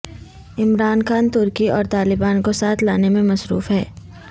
عمران خان ترکی اور طالبان کو ساتھ لانے میں مصروف ہیں